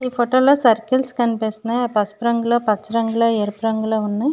ఈ ఫోటో లో సిర్కిల్స్ కనిపిస్తునాయి పసుపు రంగులో పచ్చ రంగులో ఎరుపు రంగులో ఉన్న --